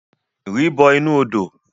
Ri bọ inu odo!